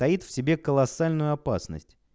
таит в себе колоссальную опасность